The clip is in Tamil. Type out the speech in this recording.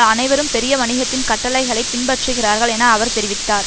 அனைவரும் பெரிய வணிகத்தின் கட்டளைகளைப் பின்பற்றுகிறார்கள் என அவர் தெரிவித்தார்